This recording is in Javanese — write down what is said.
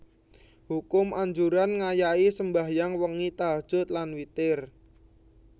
Hukum Anjuran ngayahi sembahyang wengi tahajjud lan witir